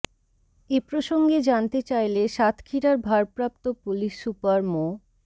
এ প্রসঙ্গে জানতে চাইলে সাতক্ষীরার ভারপ্রাপ্ত পুলিশ সুপার মো